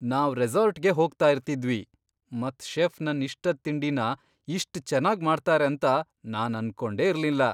ನಾವ್ ರೆಸಾರ್ಟ್ಗೆ ಹೋಗ್ತಾ ಇರ್ತಿದ್ದ್ವಿ ಮತ್ ಶೆಫ್ ನನ್ ಇಷ್ಟದ್ ತಿಂಡಿನ ಇಷ್ಟ್ ಚೆನ್ನಾಗ್ ಮಾಡ್ತಾರೆ ಅಂತ ನಾನ್ ಅನ್ಕೊಂಡೆ ಇರ್ಲಿಲ್ಲ.